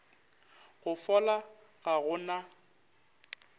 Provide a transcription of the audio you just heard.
go fola ga go na